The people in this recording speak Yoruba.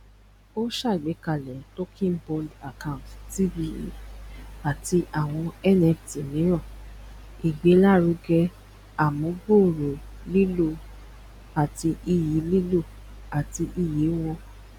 o ṣàgbékalẹ tokenbound account tba àti àwọn nft míràn igbelaruge amugbooro lilo àti iyì lilo àti iyì wọn